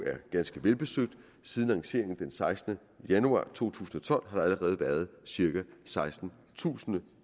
er ganske velbesøgt siden lanceringen den sekstende januar to tusind og tolv har der allerede været cirka sekstentusind